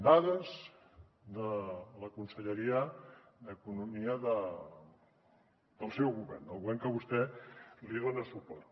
dades de la conselleria d’economia del seu govern del govern a què vostè dona suport